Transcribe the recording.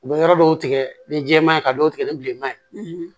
U bɛ yɔrɔ dɔw tigɛ ni jɛma ye ka dɔw tigɛ ni bilenman ye